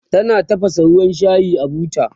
tana tafasa ruwan shayi a buta